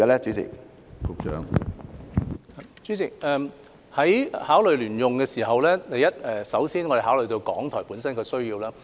主席，在考慮聯用大樓的時候，我們首先考慮港台本身的需要。